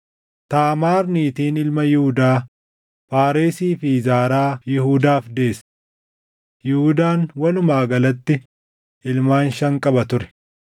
Taamaar niitiin ilma Yihuudaa Faaresii fi Zaaraa Yihuudaaf deesse. Yihuudaan walumaa galatti ilmaan shan qaba ture.